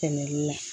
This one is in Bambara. Tɛmɛli la